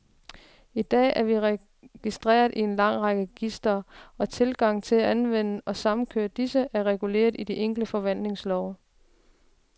I dag er vi registreret i en lang række registre, og tilgangen til at anvende og samkøre disse, er reguleret i de enkelte forvaltningslove.